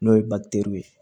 N'o ye ye